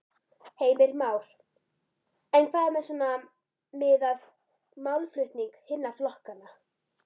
Heimir Már: En hvað með svona, miðað málflutning hinna flokkanna?